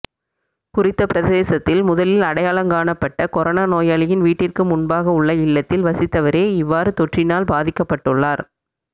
குறித்த பிரதேசத்தில் முதலில் அடையாளங் காணப்பட்ட கொரோனா நோயாளியின் வீட்டிற்கு முன்பாக உள்ள இல்லத்தில் வசித்தவரே இவ்வாறு தொற்றினால் பாதிக்கப்பட்டுள்ளார்